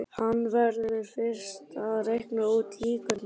Hann verður fyrst að reikna út líkurnar.